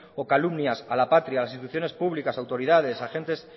o calumnias a la patria a las instituciones públicas autoridades agentes